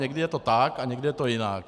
Někdy je to tak a někdy je to jinak.